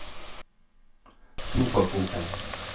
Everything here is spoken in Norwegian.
sofakroken